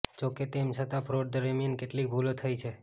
જોકે તેમ છતાં ફ્રોડ દરમિયાન કેટલીક ભૂલો થઈ છે